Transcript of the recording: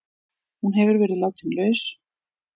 Hún hefur verið látin laus